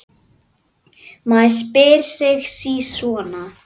Maður spyr sig sí svona.